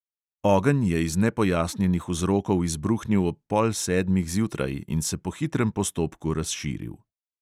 Ogenj je iz nepojasnjenih vzrokov izbruhnil ob pol sedmih zjutraj in se po hitrem postopku razširil.